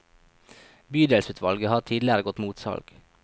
Bydelsutvalget har tidligere gått mot salg.